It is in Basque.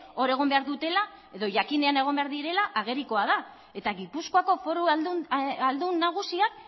hor egon behar dutela edo jakinean egon behar direla agerikoa da eta gipuzkoako foru ahaldun nagusiak